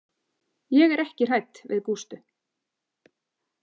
Ég er ekki hrædd við Gústu.